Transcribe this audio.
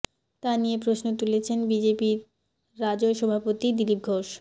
তা নিয়ে প্রশ্ন তুলেছেন বিজেপির রাজ্য় সভাপতি দিলীপ ঘোষ